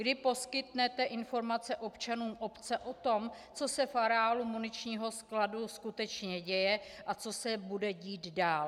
Kdy poskytnete informace občanům obce o tom, co se v areálu muničního skladu skutečně děje a co se bude dít dál?